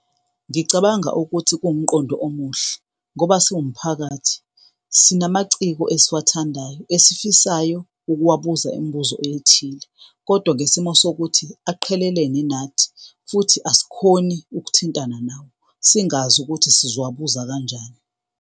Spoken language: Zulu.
Ngicabanga ukuthi kuwumqondo omuhle ngoba, siwumphakathi, sinamaciko esiwathandayo esifisayo ukuwabuza imibuzo ethile kodwa ngesimo sokuthi aqhelelene nathi, futhi asikhoni ukuthintana nawo, singazi ukuthi sizobabuza kanjani.